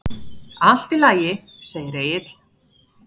Allt í lagi, segir Egill.